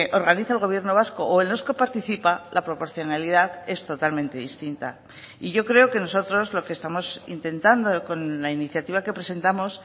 organiza el gobierno vasco o en los que participa la proporcionalidad es totalmente distinta y yo creo que nosotros lo que estamos intentando con la iniciativa que presentamos